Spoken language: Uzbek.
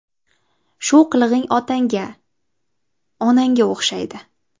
Shu qilig‘ing otangga (onangga) o‘xshaydi.